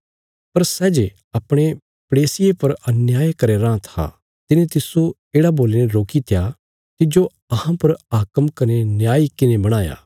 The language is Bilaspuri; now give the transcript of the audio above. पर सै जे अपणे पड़ोसिये पर अन्याय करया राँ था तिने तिस्सो येढ़ा बोलीने रोकी त्या तिज्जो अहां पर हाकम कने न्यायी किने बणाया